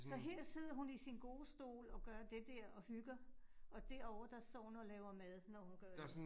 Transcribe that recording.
Så her sidder hun i sin gode stol, og gør det der og hygger. Og derovre, der står hun og laver mad, når hun gør det.